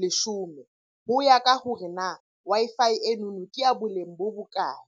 leshome. Ho ya ka hore na Wi-Fi enono ke ya boleng bo bokae?